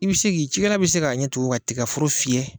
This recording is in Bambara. I bi se k'i cikɛla bi se k'a ɲɛ tugu ka tigaforo fiyɛ.